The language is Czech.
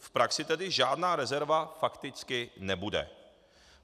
V praxi tedy žádná rezerva fakticky nebude.